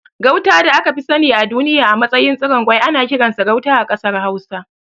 Gauta da aka fi sani a duniya a matsayin tsiron kwai ana kiransa Gauta a ƙasar Hausa.